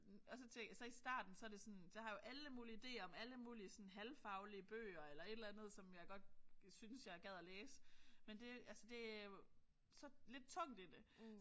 Og så så i starten så det sådan så har jeg jo alle mulige idéer om alle mulige sådan halvfaglige bøger eller et eller andet som jeg godt synes jeg gad at læse men det altså det jo så lidt tungt i det